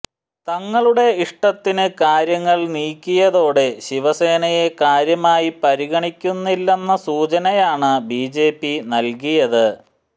തങ്ങളുടെ ഇഷ്ടത്തിന് കാര്യങ്ങൾ നീക്കിയതോടെ ശിവസേനയെ കാര്യമായി പരിഗണിക്കുന്നില്ലെന്ന സൂചനയാണ് ബിജെപി നൽകിയത്